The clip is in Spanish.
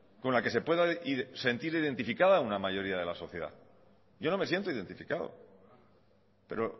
con la que se pueda sentir identificada una mayoría de la sociedad yo no me siento identificado pero